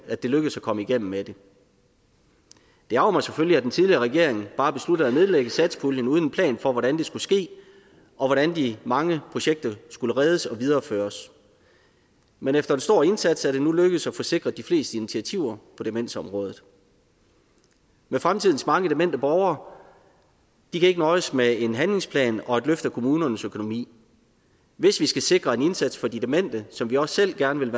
at det lykkedes at komme igennem med det det ærgrer mig selvfølgelig at den tidligere regering bare besluttede at nedlægge satspuljen uden en plan for hvordan det skulle ske og hvordan de mange projekter skulle reddes og videreføres men efter en stor indsats er det nu lykkedes at få sikret de fleste initiativer på demensområdet men fremtidens mange demente borgere kan ikke nøjes med en handlingsplan og et løft af kommunernes økonomi hvis vi skal sikre en indsats for de demente som vi også selv gerne vil